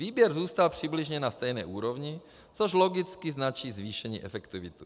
Výběr zůstal přibližně na stejné úrovni, což logicky značí zvýšení efektivity.